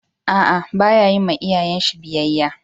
A'a, ba ya yin ma iyayen shi biyyaya.